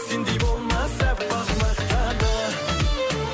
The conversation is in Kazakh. сендей болмас аппақ мақта да